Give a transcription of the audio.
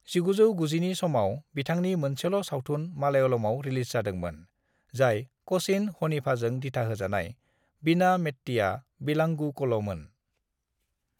"1990 नि समाव बिथांनि मोनसेल' सावथुन मलयालमाव रिलिज जादोंमोन, जाय कचिन हनीफाजों दिथाहोजानाय 'वीणा मेत्तिया विलांगुकल'मोन।"